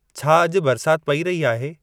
छा अॼु बरिसात पई रही आहे